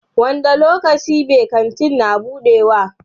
Wanda lokaci be Kantin na budewa?